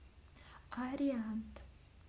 ариант